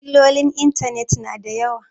Illolin intanet na da yawa